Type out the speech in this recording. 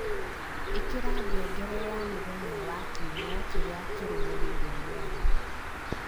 ĩikira ngengere ya Mũthenya wa Kiumia kĩrĩa kĩrũmĩrĩire mĩaraho